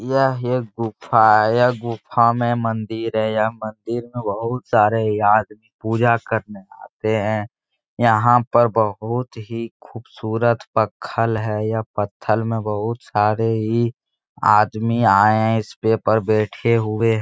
यह एक गुफा है यह गुफा में मंदिर है यह मंदिर में बहुत सारे यात पूजा करने आते हैं यहाँ पर बहुत ही खुबसुरत पथल है यह पथल में बहुत सारे ही आदमी आये हैं इसपे बेठे हुए हैं ।